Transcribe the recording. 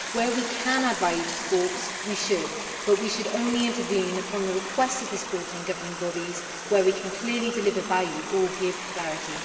Where we can add value to sports we should, but we should only intervene upon the request of the sporting governing bodies where we can clearly deliver value or give clarity.